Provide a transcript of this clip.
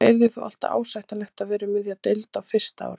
Það yrði þó alltaf ásættanlegt að vera um miðja deild á fyrsta ári.